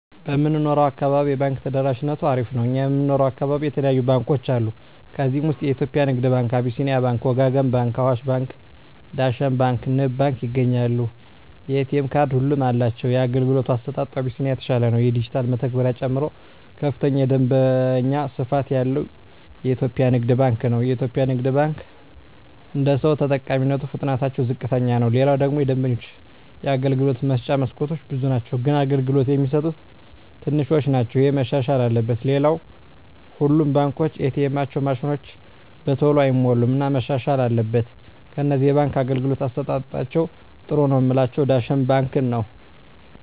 በምንኖረው አካባቢ የባንክ ተደራሽነቱ አሪፍ ነው እኛ የምንኖረው አካባቢ የተለያዩ ባንኮች አሉ ከዚህ ውስጥ የኢትዮጵያ ንግድ ባንክ አቢስኒያ ባንክ ወጋገን ባንክ አዋሽ ባንክ ዳሽን ባንክ ንብ ባንክ ይገኛሉ የኤ.ቴ ካርድ ሁሉም አላቸው የአገልግሎቱ አሰጣጡ አቢስኒያ የተሻለ ነው የዲጅታል መተግበሪያ ጨምሮ ከፍተኛ የደንበኛ ስፋት ያለው ኢትዮጵያ ንግድ ባንክ ነው የኢትዮጵያ ንግድ ባንክ አደሰው ተጠቃሚነቱ ፍጥነትታቸው ዝቅተኛ ነው ሌላው ደግሞ የደንበኞች የአገልግሎት መስጫ መስኮቶች ብዙ ናቸው ግን አገልግሎት የሚሰጡት ትንሾች ናቸው እሄ መሻሻል አለበት ሌላው ሁሉም ባንኮች ኤ. ቴኤማቸው ማሽኖች በተሎ አይሞሉም እና መሻሻል አትበል ከነዚህ የባንክ አገልግሎት አሠጣጣቸዉ ጥሩ ነው ምላቸውን ዳሽን ባንክን ነዉ